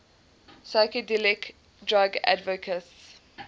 psychedelic drug advocates